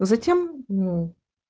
затем мм